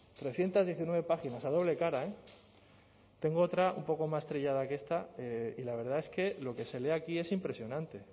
trescientos diecinueve páginas a doble cara tengo otra un poco más trillada que esta y la verdad es que lo que se lee aquí es impresionante